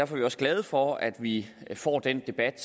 vi også glade for at vi får den debat